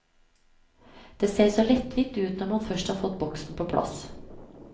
Det ser så lettvint ut når man først har fått boksen på plass.